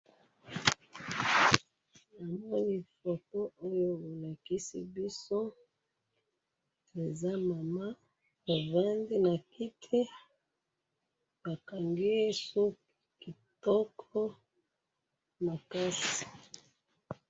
na moni photo oyo bo lakisi biso, eza mama a fandi na kiti ba kangiye suku kitoko makasi